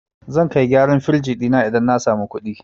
Zan kai gyaran firij ɗina idan na samu kuɗi.